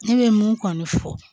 Ne bɛ mun kɔni fɔ